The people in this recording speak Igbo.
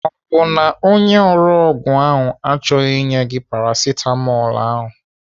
Ọ bụ na ore ọgwụ achọghị inye gị ọgwụ Paracetamol ahụ?